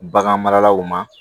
Bagan maralaw ma